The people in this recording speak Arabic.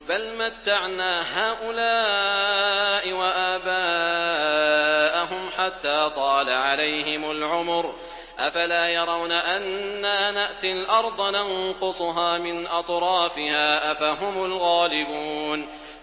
بَلْ مَتَّعْنَا هَٰؤُلَاءِ وَآبَاءَهُمْ حَتَّىٰ طَالَ عَلَيْهِمُ الْعُمُرُ ۗ أَفَلَا يَرَوْنَ أَنَّا نَأْتِي الْأَرْضَ نَنقُصُهَا مِنْ أَطْرَافِهَا ۚ أَفَهُمُ الْغَالِبُونَ